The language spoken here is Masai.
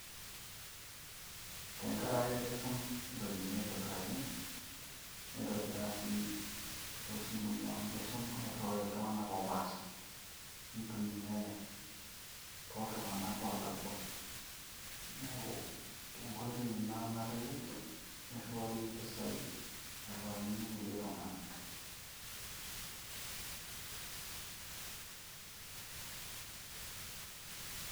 Tenkaraki keshum iropiani aitobiraki na neitobiraa sii tosimui amu keshum, niriwaki iltungana opashaa nintumiyia toltunganaa olakua, niaku enkoitoi ina nalelek niriwarie iropiani airiwaki ilkulie tungana.